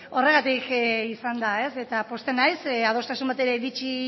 beno horregatik izan da ez eta pozten naiz adostasun batera iritsi